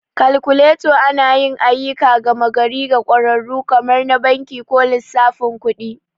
Kalkuleta anayi ayyukan gama gari ga ƙwararru kamar na banki ko lissafin kuɗi.